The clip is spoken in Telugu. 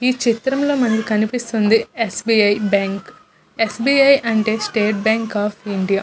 ఈ చిత్రం లో మనకి కనిపిస్తున్నది S. B. I. S. B. I. అంటే స్టేట్ బ్యాంక్ ఆఫ్ ఇండియా .